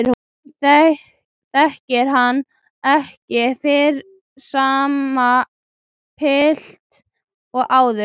Hún þekkir hann ekki fyrir sama pilt og áður.